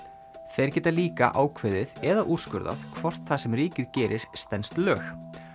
þeir geta líka ákveðið eða úrskurðað hvort það sem ríkið gerir stenst lög